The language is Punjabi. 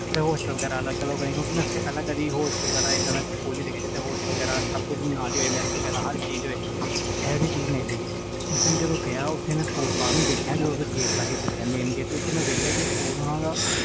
ਹੋਸਟਲ ਵਗੈਰਾ ਅਲਗ ਹੋਵੇ ਕਿਉਕਿ ਮੈਂ ਕੇਦੇ ਇਹਦਾ ਦਾ ਸਕੂਲ ਨਹੀਂ ਦੇਖਿਆ ਮੈਂ ਜਿਸ ਵਿਚ ਹੋਸਟਲ ਹੋਵੇ ਹਰ ਇਕ ਚੀਜ਼ ਨਾਲ ਹੋਵੇ ਉਸ time ਮੈਂ ਗਿਆ ਮੈਂ ਦੇਖਿਆ ਸਕੂਲ ਬਾਹਰੋਂ ਜਦੋ ਮੇਨ ਗੇਟ ਕੋਲ ਗਿਆ ਓਥੋਂ ਮਈ ਦੇਖਿਆ ਸਕੂਲ ਨਾ